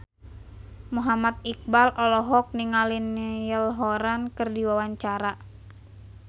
Muhammad Iqbal olohok ningali Niall Horran keur diwawancara